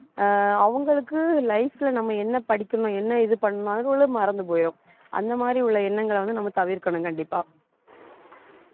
அஹ் அவங்களுக்கு life ல நம்ம என்ன படிக்கணும் என்ன இது பண்ணணும் மறந்து போயிடும் அந்த மாதிரி உள்ள எண்ணங்களை வந்து, நம்ம தவிர்க்கணும் கண்டிப்பா